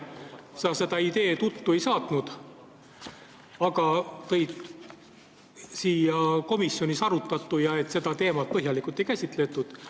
Sa seda ideed uttu ei saatnud, aga märkisid, et komisjonis seda teemat põhjalikult ei käsitletud.